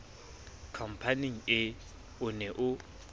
khampaneng ee o ne o